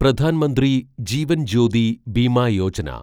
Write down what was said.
Pradhan Mantri Jeevan Jyoti Bima Yojana